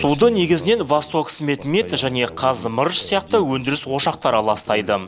суды негізінен восток свет мет және қазы мырыш сияқты өндіріс ошақтары ластайды